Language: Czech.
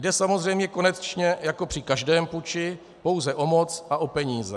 Jde samozřejmě, konečně jako při každém puči, pouze o moc a o peníze.